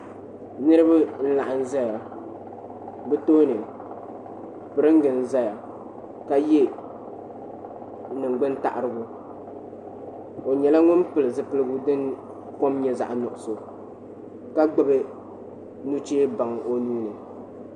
niriba n-laɣim ʒeya bɛ tooni piringa n-zaya ka ye ningbuni taɣirigu o nyɛla ŋun pili zupiligu din kom nyɛla zaɣ' nuɣisɔ ka gbubi nuchee baŋ o nuu ni.